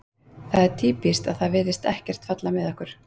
Það er týpískt að það virðist ekkert falla með okkur.